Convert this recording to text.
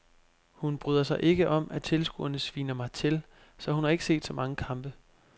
Hun bryder sig ikke om at tilskuerne sviner mig til, så hun har ikke set så mange kampe.